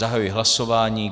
Zahajuji hlasování.